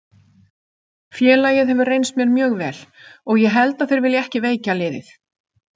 Félagið hefur reynst mér mjög vel og ég held að þeir vilji ekki veikja liðið.